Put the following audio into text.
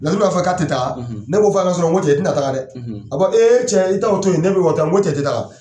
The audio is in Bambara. Laturu b'a fɔ k'a tɛ taa ne k'o f'ɔ ye surɔ n ko cɛ i tɛ na taga dɛ a ko e cɛ i ta o to ye ne bɛ wa tɔ n ko cɛ i tɛ taga.